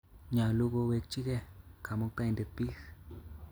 Nyalu kowekchikei Kamuktaindet piik